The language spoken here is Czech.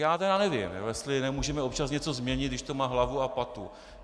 Já tedy nevím, jestli nemůžeme občas něco změnit, když to má hlavu a patu.